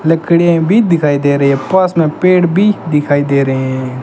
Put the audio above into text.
लकड़ियां भी दिखाई दे रही है पास में पेड़ भी दिखाई दे रहे हैं।